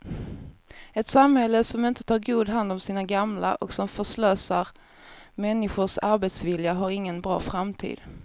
Ett samhälle som inte tar god hand om sina gamla och som förslösar människors arbetsvilja har ingen bra framtid.